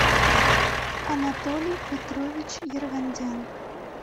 анатолий петрович ервандян